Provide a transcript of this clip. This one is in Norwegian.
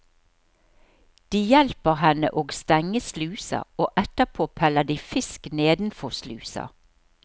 De hjelper henne og stenge slusa, og etterpå peller de fisk nedenfor slusa.